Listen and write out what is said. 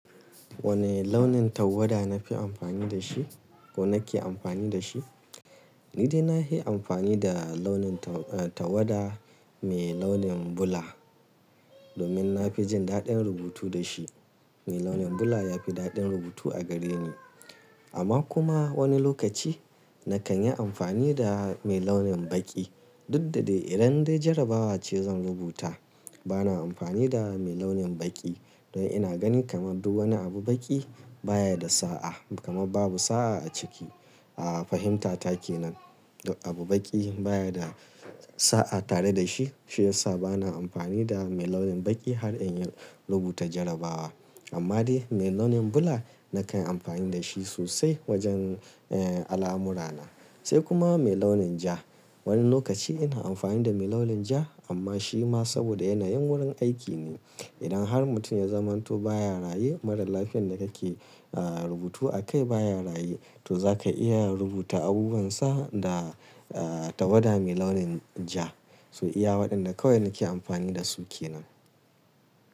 Wane launin tawada nafi amfani da shi ko nake amfani da shi? Ni dai nafi amfani da launin ta-tawada mai launin bula domin na fi jin daɗin rubutu da shi. Mai launin bula ya fi daɗin rubutu a gare ni. Amma kuma wani lokaci nakan yi amfani da mai launin baƙi. Duk da dai idan dai jarabawa ce zan rubuta bana amfani da mai launin baƙi. Don ina gani kamar duk wani abu baƙi baya da sa'a kamar babu sa'a a ciki. A fahimtata kenan abu baƙi baya da sa'a tare da shi. Shi yasa bana amfani da mai launin baƙi har inyi rubuta jarabawa. Amma dai mai launin bula nakan amfani da shi sosai wajen eh alamurana. Sai kuma mai launin ja. Wani lokaci ina amfani da mai launin ja amma shi ma saboda yanayin wurin aiki ne. Idan har mutum ya zamanto baya raye mara lafiyan da kake rubutu a kai baya raye to zaka iya rubuta abubuwansa da tawada mai launin ja. To iya waɗanda kawai nake amfani da su kenan.